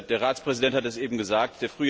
Der Ratspräsident hat es eben gesagt.